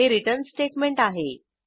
हे return statement आहे